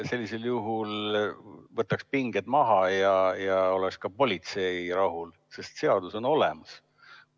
Sellisel juhul võtaks pinged maha ja oleks ka politsei rahul, sest seadus on olemas.